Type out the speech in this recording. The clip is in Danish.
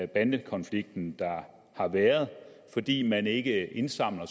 bandekonflikten der har været fordi man ikke indsamler